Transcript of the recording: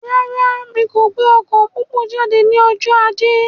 Rárá, mí kò gbé ọkọ pópó jáde ní ọjọ ajé